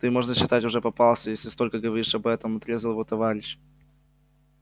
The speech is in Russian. ты можно считать уже попался если столько говоришь об этом отрезал его товарищ